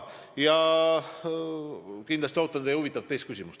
Kindlasti ma ootan teie huvitavat teist küsimust.